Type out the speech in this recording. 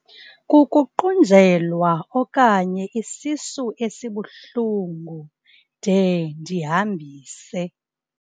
Kukuqunjelwa okanye isisu esibuhlungu de ndihambise.